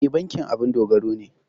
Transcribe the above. E, bankin abun dogaro ne.